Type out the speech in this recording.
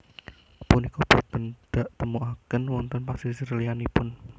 Punika boten daktemukaken wonten pasisir liyanipun